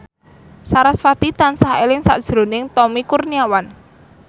sarasvati tansah eling sakjroning Tommy Kurniawan